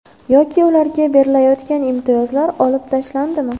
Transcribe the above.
Yoki ularga berilayotgan imtiyozlar olib tashlandimi?